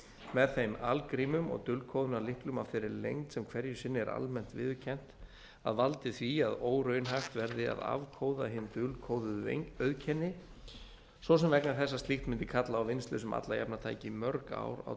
með þeim algrímum og dulkóðunarlykli af þeirri lengd sem hverju sinni er almennt viðurkennt að valdi því að óraunhæft verði að afkóða hin dulkóðuðu einkenni svo sem vegna þess að slíkt mundi kalla á vinnslu sem alla jafna tæki mörg ár á